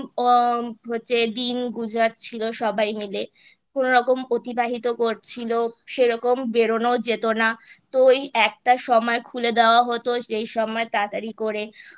দিন উম গুজার ছিল সবাই মিলে কোনোরকম অতিবাহিত করছিলো সেরকম বেরোনো ও যেত না তো এই একটা সময় খুলে দেওয়া হতো সেই সময় তাড়াতাড়ি করে